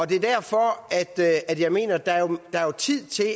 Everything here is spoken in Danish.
det er derfor jeg mener at der er tid til at